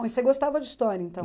você gostava de história, então?